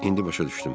İndi başa düşdüm.